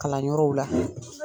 Kalan yɔrɔw la.